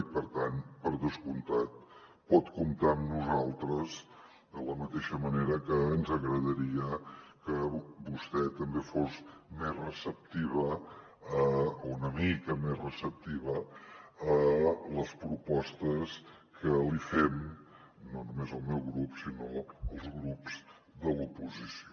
i per tant per descomptat pot comptar amb nosaltres de la mateixa manera que ens agradaria que vostè també fos més receptiva o una mica més receptiva a les propostes que li fem no només el meu grup sinó els grups de l’oposició